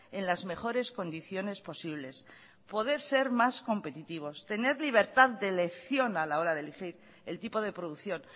en las mejores condiciones posibles poder ser más competitivos tener libertad de elección a la hora de elegir el tipo de producción